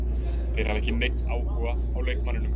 Þeir hafa ekki neinn áhuga á leikmanninum.